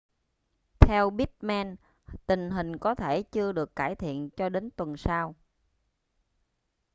theo pittman tình hình có thể chưa được cải thiện cho đến tuần sau